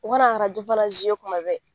U ka na arajo fana kuma bɛɛ.